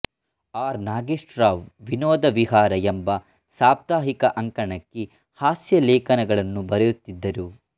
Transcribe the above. R Nagesh Rao Vinoda Vihara ಎಂಬ ಸಾಪ್ತಾಹಿಕ ಅಂಕಣಕ್ಕೆ ಹಾಸ್ಯಲೇಖನಗಳನ್ನು ಬರೆಯುತ್ತಿದ್ದರು